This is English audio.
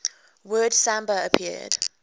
word samba appeared